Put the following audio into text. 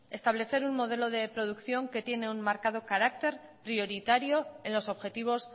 establecer un modelo de producción que tiene un marcado carácter prioritario en los objetivos